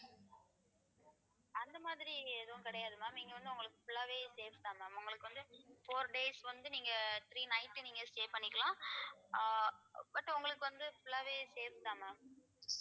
அந்த மாதிரி எதுவும் கிடையாது ma'am நீங்க வந்து உங்களுக்கு full ஆவே safe தான் ma'am உங்களுக்கு வந்து four days வந்து நீங்க three night நீங்க stay பண்ணிக்கலாம் ஆஹ் but உங்களுக்கு வந்து full ஆவே safe தான் ma'am